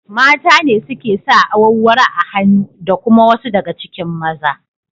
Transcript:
Mata ne suke sa awarwaro a hannu da kuma wasu daga cikin maza.